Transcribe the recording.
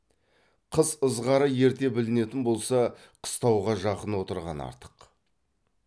қыс ызғары ерте білінетін болса қыстауға жақын отырған артық